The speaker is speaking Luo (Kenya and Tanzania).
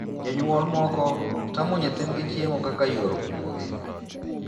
Jonyuol moko tamo nyithindgi chiemo kaka yor kumogi.